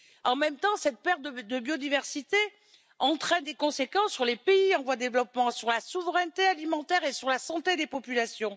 En même temps, cette perte de biodiversité entraîne des conséquences sur les pays en voie de développement, sur la souveraineté alimentaire et sur la santé des populations.